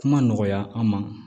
Kuma nɔgɔya an ma